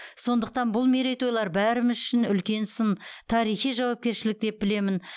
сондықтан бұл мерейтойлар бәріміз үшін үлкен сын тарихи жауапкершілік деп білемін